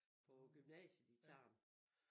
På gymnasiet i Tarm